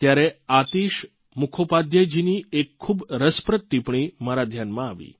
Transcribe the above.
ત્યારે આતિશ મુખોપાધ્યાયજીની એક ખૂબ રસપ્રદ ટીપ્પણી મારા ધ્યાનમાં આવી